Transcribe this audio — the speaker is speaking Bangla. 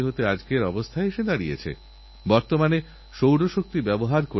আর এজন্য ভারত সরকার আতাল টিঙ্কারিং ল্যাবস তৈরি করার উদ্যোগ নিয়েছে